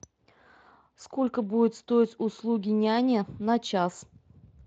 сколько будут стоить услуги няни на час